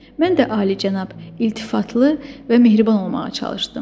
Mən də alicənab, iltifatlı və mehriban olmağa çalışdım.